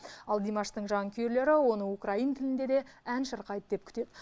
ал димаштың жанкүйерлері оны украин тілінде де ән шырқайды деп күтеді